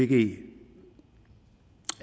det